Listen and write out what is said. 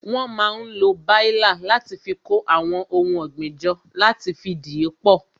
Wón máa ń lo baila láti fi kó àwọn ohun ọ̀gbìn jọ, láti fi dìípọ̀